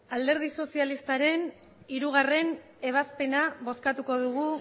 alderdi sozialistaren hirugarrena ebazpena bozkatuko dugu